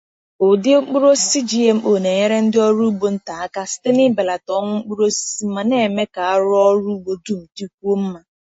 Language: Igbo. Ụdị mkpụrụ osisi GMO na-enyere ndị ọrụ ugbo nta aka site n’ịbelata ọnwụ mkpụrụ osisi ma na-eme ka arụ ọrụ ugbo dum dịkwuo mma.